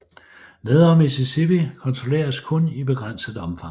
Nedre Mississippi kontrolleres kun i begrænset omfang